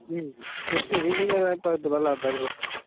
ਇਹਨੂੰ ਕਿਹੜਾ ਪਤਾ ਲਗਦਾ ਕੁਛ